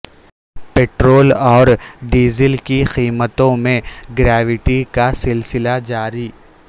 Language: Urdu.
پٹرول اورڈیزل کی قیمتوں میں گراوٹ کا سلسلہ جاری